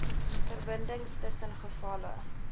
verbindings tussen gevalle